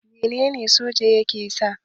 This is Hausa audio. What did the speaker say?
Menene soja ke sa?